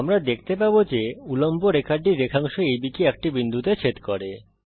আমরা দেখতে পাবো যে উল্লম্ব রেখাটি রেখাংশ আব কে একটি বিন্দুতে ছেদ করে